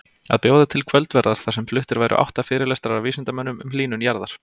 Að bjóða til kvöldverðar þar sem fluttir væru átta fyrirlestrar af vísindamönnum um hlýnun jarðar.